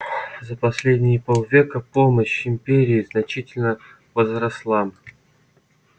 за последние полвека помощь империи значительно возросла